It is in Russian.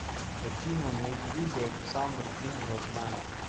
афина на ютуб александр гум родная